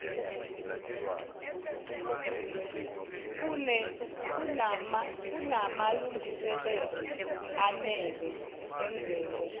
kunamalungiselelo enele enzelwe